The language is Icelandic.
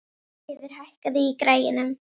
Brynfríður, hækkaðu í græjunum.